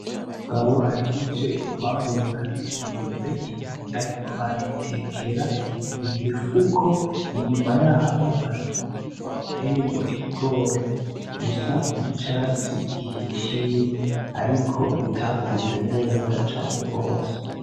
Umugabo ahejeje kwamura imyembe, arik'arayitekera mu mifuko inyuma yaho har'umurima uteyemwo ibigori, bisa nk'icatsi gihishiye ariko bitakuze neza cane gose.